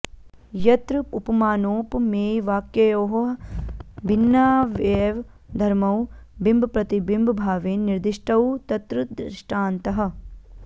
यत्र उपमानोपमेयवाक्ययोः भिन्नावैव धर्मौ बिम्बप्रतिबिम्बभावेन निर्दिष्टौ तत्र दृष्टान्तः